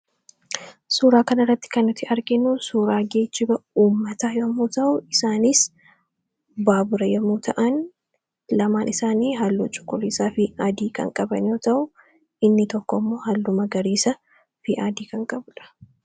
suuraa kana irratti kannuti arginu suuraa geejjiba uummataa yomuu ta'u isaaniis baabura yommuu ta'an lamaan isaanii halluu cukuliisaa fi aadii kan qabanoo ta'uu inni tokko mmoo hal'uma gariisa fi aadii kan qabudha